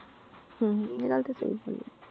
ਹਮ ਹਮ ਇਹ ਗੱਲ ਤੇ ਸਹੀ ਬੋਲੀ।